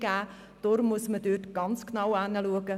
Deshalb muss man dort ganz genau hinschauen.